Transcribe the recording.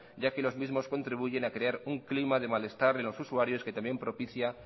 ya que los mismos contribuyen a crear un clima de malestar en los usuarios que también propicia